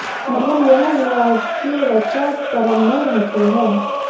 मतलब यह हुआ कि ऋचा परम में रहती है